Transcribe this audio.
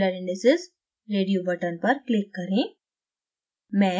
miller indices radio button पर click करें